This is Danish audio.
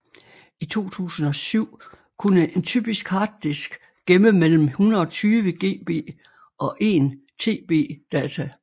I 2007 kunne en typisk harddisk gemme mellem 120 GB og 1 TB data